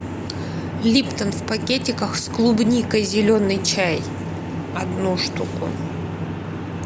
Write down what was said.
липтон в пакетиках с клубникой зеленый чай одну штуку